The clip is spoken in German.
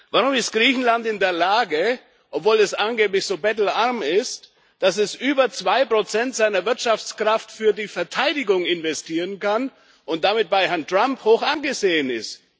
Warum ist Griechenland in der Lage, obwohl es angeblich so bettelarm ist, dass es über zwei Prozent seiner Wirtschaftskraft in die Verteidigung investieren kann und damit bei Herrn Trump hoch angesehen ist?